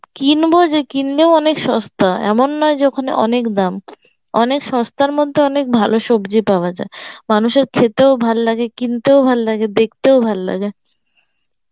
কিনব যে কিনলেও অনেক সস্তা ,এমন নয় যে ওখানে অনেক দাম অনেক সস্তার মধ্যে অনেক ভাল সবজি পাওয়া যায় মানুষের খেতেও ভালো লাগে কিনতেও ভালো লাগে, দেখতেও ভালো লাগে